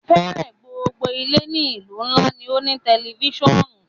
Fẹẹrẹ gbogbo ile ni ilu nla ni o ni a tẹlifisiọnu